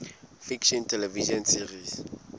fiction television series